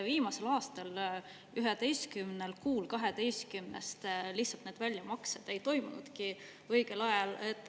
Viimasel aastal 11 kuul 12-st lihtsalt need väljamaksed ei toimunudki õigel ajal.